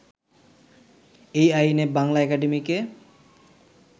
এই আইনে বাংলা একাডেমিকে